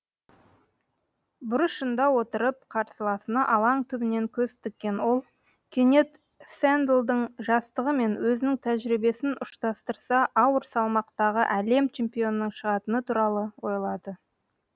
бұрышында отырып қарсыласына алаң түбінен көз тіккен ол кенет сэндлдің жастығы мен өзінің тәжірибесін ұштастырса ауыр салмақтағы әлем чемпионының шығатыны туралы ойлады